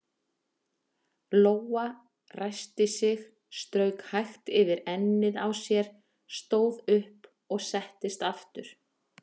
Lóa ræskti sig, strauk hægt yfir ennið á sér, stóð upp og settist aftur.